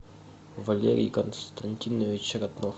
валерий константинович ратнов